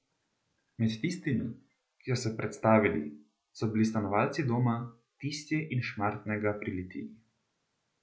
Med tistimi, ki so se predstavili, so bili stanovalci Doma Tisje iz Šmartnega pri Litiji.